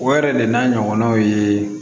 O yɛrɛ de n'a ɲɔgɔnnaw ye